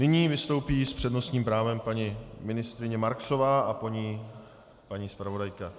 Nyní vystoupí s přednostním právem paní ministryně Marksová a po ní paní zpravodajka.